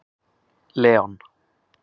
Leon